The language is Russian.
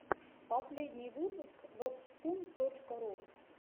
последний выпуск вэбспун точка ру